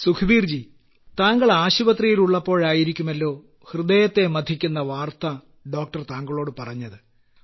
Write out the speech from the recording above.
സുഖ്ബീർ ജി താങ്കൾ ആശുപത്രിയിലുള്ളപ്പോഴായിരിക്കുമല്ലോ ഹൃദയത്തെ മഥിക്കുന്ന വാർത്ത ഡോക്ടർ താങ്കളോട് പറഞ്ഞത്